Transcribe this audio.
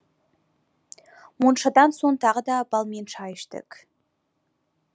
моншадан соң тағы да балмен шай іштік